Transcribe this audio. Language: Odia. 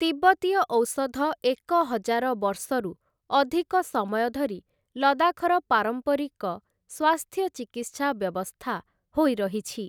ତିବ୍ବତୀୟ ଔଷଧ ଏକ ହଜାର ବର୍ଷରୁ ଅଧିକ ସମୟ ଧରି ଲଦାଖର ପାରମ୍ପାରିକ ସ୍ୱାସ୍ଥ୍ୟ ଚିକିତ୍ସା ବ୍ୟବସ୍ଥା ହୋଇ ରହିଛି ।